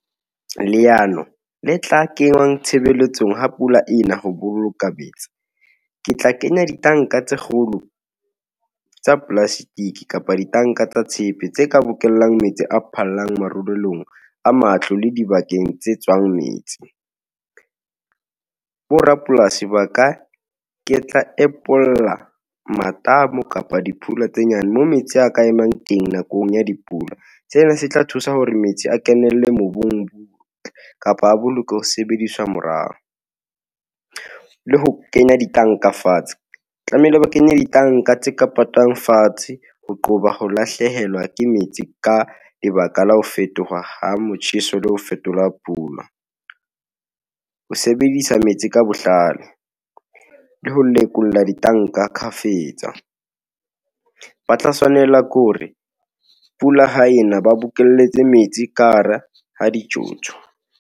Leano le tla kengwaang tshebeletsong ha pula ena, ho boloka metsi. Ke tla kenya ditanka tse kgolo, tsa plastic, kapa ditanka tsa tshepe tse ka bokellang metsi a phallang marulelong a matlo, le dibakeng tse tswang metsi. Borapolasi ba ka ke tla empolla matamo kapa dipula tse nyane, mo metsi a ka emang teng nakong ya dipula. Sena se tla thusa hore metsi a kenelle mobung, kapa a bolokwe ho sebediswa morao , le ho kenya ditanka fatshe , tlamehile ba kenye ditanka tse ka patwang fatshe. Ho qoba ho lahlehelwa ke metsi, ka lebaka la ho fetoha ha motjheso, le ho fetola pula , ho sebedisa metsi ka botlalo, le ho lekola ditanka kgafetsa. Ba tla tshwanela ke hore pula ha ena, ba bokelletse metsi ka ha ra ha dijojo.